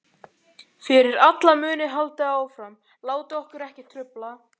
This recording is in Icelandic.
Fyrir alla muni haldið áfram, látið okkur ekki trufla.